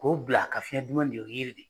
K'o bila ka fiɲɛ dumam minɛ o ye yiri de